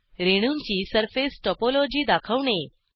रेणूंची surface topology दाखवणे